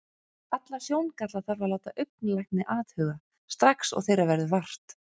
Alla sjóngalla þarf að láta augnlækni athuga, strax og þeirra verður vart.